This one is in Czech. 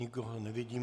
Nikoho nevidím.